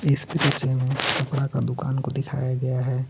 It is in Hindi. कपड़ा का दुकान को दिखाया गया है.